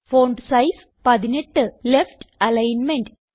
font size 18 left alignment